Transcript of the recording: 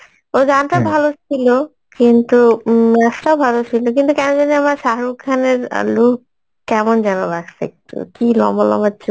ওই গানটা ভালো সিলো কিন্তু উম নাচটা ভালো ছিলো কিন্তু কেন জানি আমার শাহরুখ খানের look কেমন যেন লাগসে, কি লম্বা লম্বা চুল